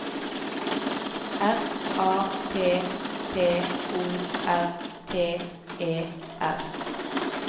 R A P P O R T E R